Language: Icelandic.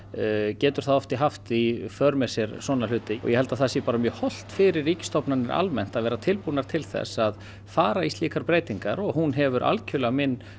getur það oft haft í för með sér svona hluti og ég held að það sé bara mjög hollt fyrir ríkisstofnanir almennt að vera tilbúnar til að fara í slíkar breytingar og hún hefur algjörlega